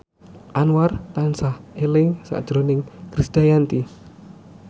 Anwar tansah eling sakjroning Krisdayanti